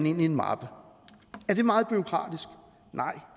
i en mappe er det meget bureaukratisk nej